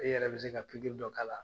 E yɛrɛ bi se ka dɔ k'a la